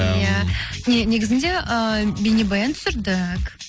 иә негізінде ыыы бейнебаян түсірдік